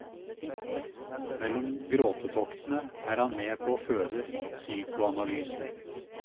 Mellom gråtetoktene er han med på å føde psykoanalysen.